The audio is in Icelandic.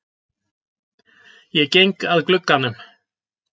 Ég geng að glugganum.